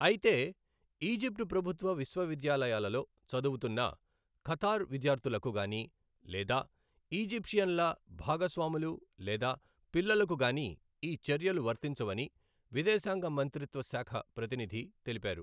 అయితే, ఈజిప్టు ప్రభుత్వ విశ్వవిద్యాలయాలలో చదువుతున్న ఖతార్ విద్యార్థులకు గాని లేదా ఈజిప్షియన్ల భాగస్వాములు లేదా పిల్లలకు గాని ఈ చర్యలు వర్తించవని విదేశాంగ మంత్రిత్వ శాఖ ప్రతినిధి తెలిపారు.